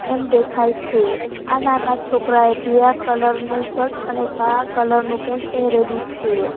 એમ દેખાય છે આ નાના છોકરા એ પીળા કલર નું શર્ટ અને કાળા કલર નું પેન્ટ પહેરેલું છે.